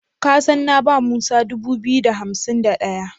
Ka san na ba Musa dubu biyu da hansim da ɗaya?